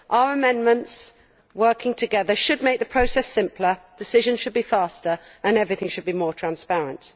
Our amendments, taken together, should make the process simpler, decisions should be faster and everything should be more transparent.